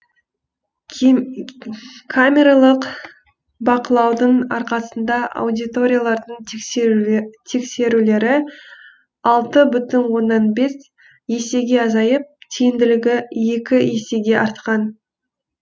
камералық бақылаудың арқасында аудиторлардың тексерулері алты бүтін оннан бес есеге азайып тиімділігі екі есеге артқан